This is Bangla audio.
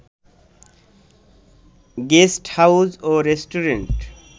গেস্টহাউজ ও রেস্টুরেন্ট